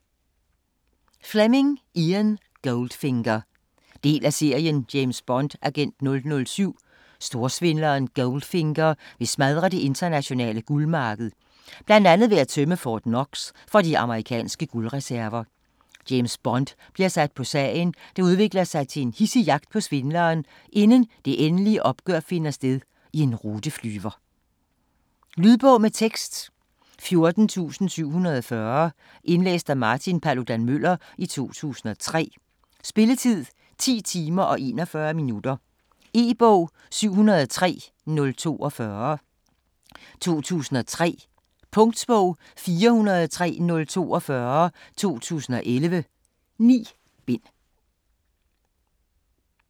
Fleming, Ian: Goldfinger Del af serien James Bond, agent 007. Storsvindleren Goldfinger vil smadre det internationale guldmarked, bl.a. ved at tømme Fort Knox for de amerikanske guldreserver. James Bond bliver sat på sagen, der udvikler sig til en hidsig jagt på svindleren, inden det endelige opgør finder sted i en ruteflyver. Lydbog med tekst 14740 Indlæst af Martin Paludan-Müller, 2003. Spilletid: 10 timer, 41 minutter. E-bog 703042 2003. Punktbog 403042 2011. 9 bind.